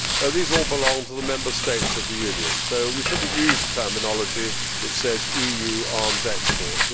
These all belong to the Member States of the Union, so we should not use terminology which says EU arms exports'.